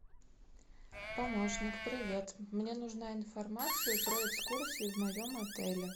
помощник привет мне нужна информация про экскурсии в моем отеле